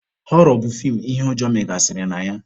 Họrọ bụ feem ihe ụjọ megasịrị na ya.